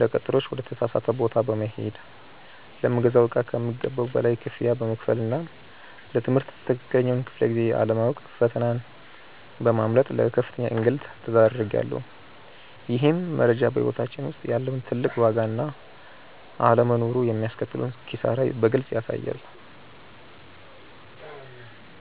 ለቀጠሮዎች ወደ ተሳሳተ ቦታ በመሄድ፣ ለምገዛው እቃ ከሚገባው በላይ ክፍያ በመክፈልና ለ ትምህርት ትክክለኛውን ክፍለ-ጊዜ አለማወቅ ፈተና በማምለጥ ለከፍተኛ እንግልት ተዳርጌያለሁ። ይህም መረጃ በሕይወታችን ውስጥ ያለውን ትልቅ ዋጋና አለመኖሩ የሚያስከትለውን ኪሳራ በግልጽ ያሳያል።